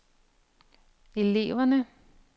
eleverne